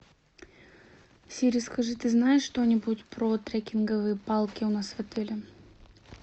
сири скажи ты знаешь что нибудь про трекинговые палки у нас в отеле